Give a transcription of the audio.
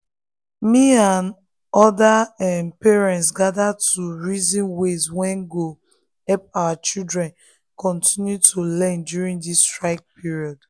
me and other um parents gather to um reason ways wey go help our children continue to learn during this strike period. um